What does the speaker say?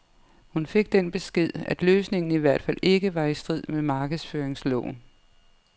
Hun fik den besked, at løsningen i hvert fald ikke var i strid med markedsføringsloven.